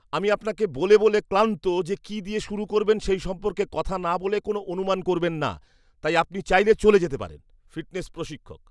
আমি আপনাকে বলে বলে ক্লান্ত যে কী দিয়ে শুরু করবেন সেই সম্পর্কে কথা না বলে কোন অনুমান করবেন না, তাই আপনি চাইলে চলে যেতে পারেন! ফিটনেস প্রশিক্ষক